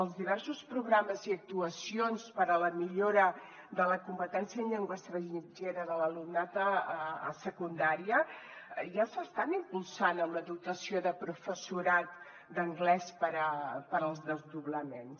els diversos programes i actuacions per a la millora de la competència en llengua estrangera de l’alumnat a secundària ja s’estan impulsant amb la dotació de professorat d’anglès per als desdoblaments